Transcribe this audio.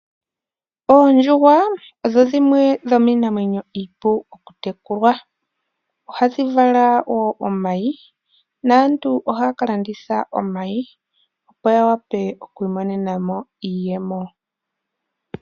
Oondjuhwa odho dhimwe dhomiinamwenyo iipu okutekulwa, ohadhi vala wo omayi naantu ohaa ka landitha omayi opo ya wape okwi imonenamo iiyemo.